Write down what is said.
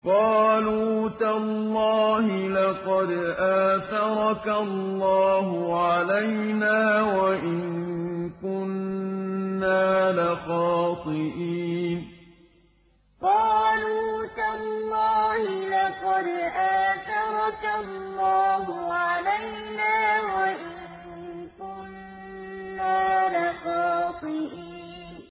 قَالُوا تَاللَّهِ لَقَدْ آثَرَكَ اللَّهُ عَلَيْنَا وَإِن كُنَّا لَخَاطِئِينَ قَالُوا تَاللَّهِ لَقَدْ آثَرَكَ اللَّهُ عَلَيْنَا وَإِن كُنَّا لَخَاطِئِينَ